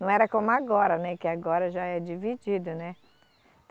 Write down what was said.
Não era como agora, né, que agora já é dividido, né.